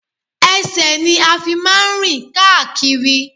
Ẹsẹ̀ ni a fi máa ń rìn káàkiri